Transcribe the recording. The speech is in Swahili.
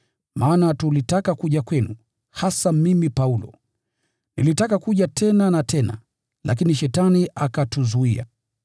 Maana tulitaka kuja kwenu, hasa mimi Paulo, nilitaka kuja tena na tena, lakini Shetani akatuzuia.